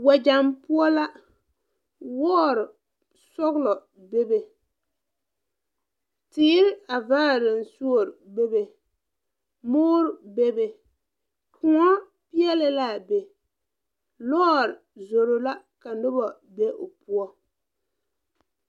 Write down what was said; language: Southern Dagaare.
Wɛgyaŋ poɔ la wɔɔre sɔglɔ bebe teere a vaare naŋ suore bebe moɔrre bebe kòɔ peɛɛli laa be lɔɔre zoro la ka noba be o poɔ.